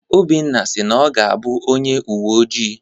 Obinna si na ọ ga-abụ onye uwe ojii.